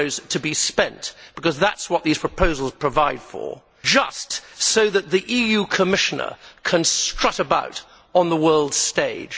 to be spent because that is what these proposals provide for just so that the EU Commissioner can strut about on the world stage?